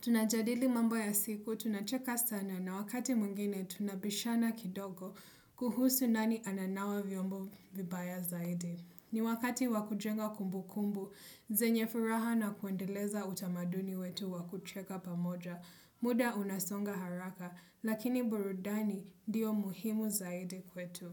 Tunajadili mambo ya siku, tunacheka sana na wakati mwingine tunabishana kidogo kuhusu nani ananawa vyombo vibaya zaidi. Ni wakati wakujenga kumbu kumbu, zenye furaha na kuendeleza utamaduni wetu wakucheka pamoja. Muda unasonga haraka, lakini burudani ndio muhimu zaidi kwetu.